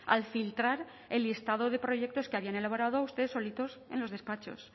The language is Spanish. al filtrar el listado de proyectos que habían elaborado ustedes solitos en los despachos